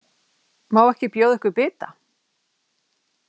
Má ekki bjóða ykkur bita?